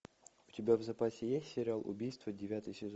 у тебя в запасе есть сериал убийство девятый сезон